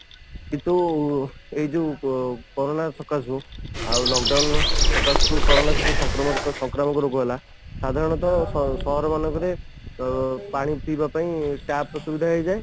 କିନ୍ତୁ ଏଇ ଯୋଉ କରୋନା ସକାଶେ ଯୋଉ ଆଉ lock down ସକାସରୁ କରୋନା ସଂକ୍ରାମକ ରୋଗ ହେଲା ସାଧାରଣତଃ ସହର ମାନଙ୍କରେ ପାଣି ପିଇବା ପାଇଁ ଟ୍ୟାପ ର ସୁବିଧା ହେଇଯାଏ